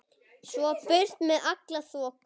Svo burt með alla þoku.